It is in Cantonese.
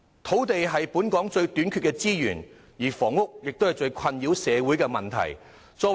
土地是本港最短缺的資源，房屋也是社會人士感到最困擾的問題。